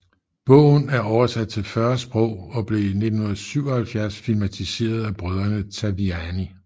Bogen er oversat til 40 sprog og blev i 1977 filmatiseret af brødrene Taviani